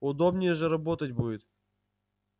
удобнее же работать будет